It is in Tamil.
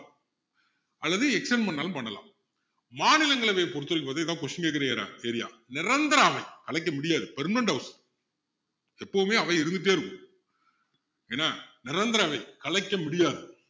அல்லது extend பண்ணாலும் பண்ணலாம் மாநிலங்களவையை பொறுத்த வரைக்கும் பாத்திங்கன்னா இது தான் question கேக்குற ஏற~ area நிரந்தர அமைப்பு கலைக்க முடியாது permanent house எப்பவுமே அவை இருந்துட்டே இருக்கும் என்ன நிரந்தர அவை கலைக்க முடியாது